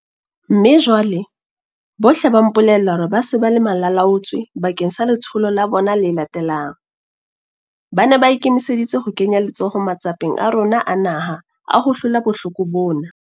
Mme jwale, bohle ba mpolella hore ba se ba le malalaalaotswe bakeng sa letsholo la bona le latelang. Ba ne ba ikemiseditse ho kenya letsoho matsapeng a rona a naha a ho hlola bohloko bona.